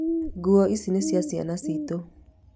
Nguo icio nĩ cia ciana tu